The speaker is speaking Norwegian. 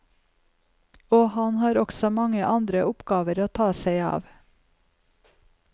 Og han har også mange andre oppgaver å ta seg av.